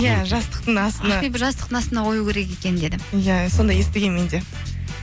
иә жастықтың астына ақбибі жастықтың астына қою керек екен деді иә сондай естігенмін мен де